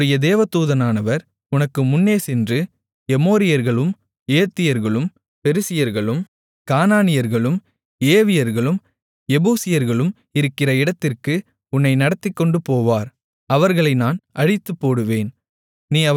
என்னுடைய தூதனானவர் உனக்கு முன்னேசென்று எமோரியர்களும் ஏத்தியர்களும் பெரிசியர்களும் கானானியர்களும் ஏவியர்களும் எபூசியர்களும் இருக்கிற இடத்திற்கு உன்னை நடத்திக்கொண்டுபோவார் அவர்களை நான் அழித்துப்போடுவேன்